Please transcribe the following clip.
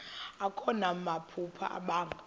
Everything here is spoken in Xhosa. akho namaphupha abanga